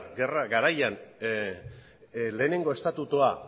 gerra garaian lehenengo estatutua